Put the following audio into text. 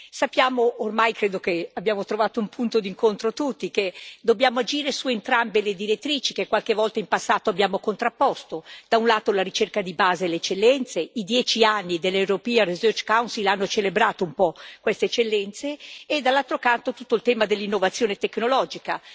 Sappiamo ormai credo che abbiamo trovato tutti un punto d'incontro che dobbiamo agire su entrambe le direttrici, che qualche volta in passato abbiamo contrapposto. Da un lato, la ricerca di base e le eccellenze i dieci anni dell' European Research Council hanno celebrato un po' queste eccellenze e, dall'altro lato, tutto il tema dell'innovazione tecnologica.